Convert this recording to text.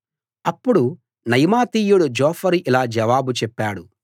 అప్పుడు నయమాతీయుడు జోఫరు ఇలా జవాబు చెప్పాడు